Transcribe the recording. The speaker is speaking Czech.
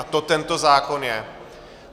A to tento zákon je.